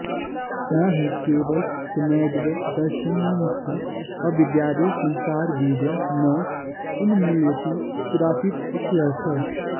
न हि केवलसम्यग्दर्शननिष्ठा अविद्यादिसंसारबीजं न उन्मूलयति कदाचित् इत्यर्थः